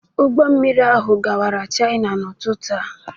Ụgbọ mmiri ahụ gawara China n'ụtụtụ a.